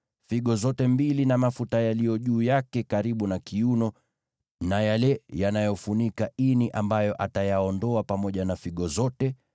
figo zote mbili na mafuta yaliyo juu yake karibu na kiuno na yale yanayofunika ini ambayo atayaondoa pamoja na figo zote,